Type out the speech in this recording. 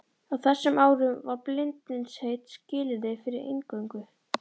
Á þessum árum var bindindisheit skilyrði fyrir inngöngu.